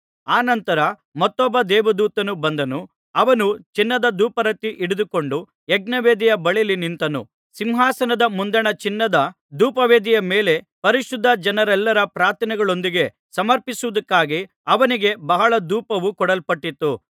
ಅನಂತರ ಮತ್ತೊಬ್ಬ ದೇವದೂತನು ಬಂದನು ಅವನು ಚಿನ್ನದ ಧೂಪಾರತಿ ಹಿಡಿದುಕೊಂಡು ಯಜ್ಞವೇದಿಯ ಬಳಿಯಲ್ಲಿ ನಿಂತನು ಸಿಂಹಾಸನದ ಮುಂದಣ ಚಿನ್ನದ ಧೂಪವೇದಿಯ ಮೇಲೆ ಪರಿಶುದ್ಧ ಜನರೆಲ್ಲರ ಪ್ರಾರ್ಥನೆಗಳೊಂದಿಗೆ ಸಮರ್ಪಿಸುವುದಕ್ಕಾಗಿ ಅವನಿಗೆ ಬಹಳ ಧೂಪವು ಕೊಡಲ್ಪಟ್ಟಿತು